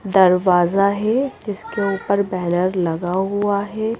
दरवाजा है जिसके ऊपर बैनर लगा हुआ है।